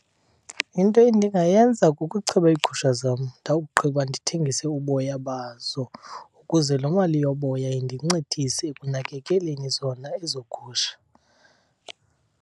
Into endingayenza kukucheba iigusha zam ndawugqiba ndithengise uboya bazo ukuze loo mali yoboya indincedise ekunakekeleni zona ezo gusha.